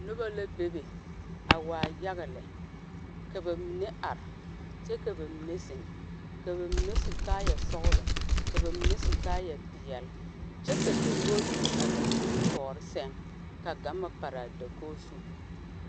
Noba la be be a waa yaga lɛ. Ka ba mene are kyɛ ka ba mene zeŋ. Ka ba mene su kaaya sɔglɔ. Ka ba mene su kaaya piɛle kyɛ ka dakoge biŋ a ba nimitooreŋ seŋ ka gama pare a dakoge zu